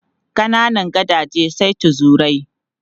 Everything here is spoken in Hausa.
Kananan gadaje sai tuzurai.